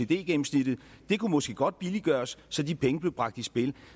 gennemsnittet måske godt kunne billiggøres så de penge blev bragt i spil